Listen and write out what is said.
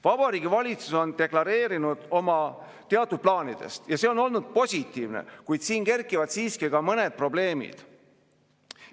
Vabariigi Valitsus on deklareerinud oma teatud plaanid ja see on olnud positiivne, kuid siin kerkivad siiski ka mõned probleemid.